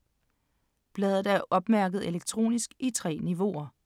Bladet er opmærket elektronisk i 3 niveauer.